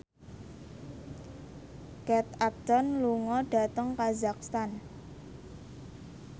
Kate Upton lunga dhateng kazakhstan